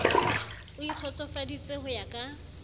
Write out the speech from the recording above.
o ikgotsofaditse ho ya ka